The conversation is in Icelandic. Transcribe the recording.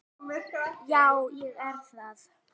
Já, ég er það.